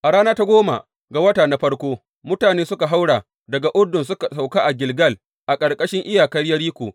A rana ta goma ga wata na farko, mutane suka haura daga Urdun suka sauka a Gilgal a gabashin iyakar Yeriko.